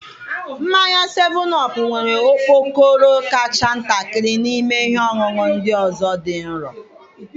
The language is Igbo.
Mmanya 7OP nwere okpokoro kacha ntakịrị n'ime ihe ọṅụṅụ ndị ọzọ dị nro.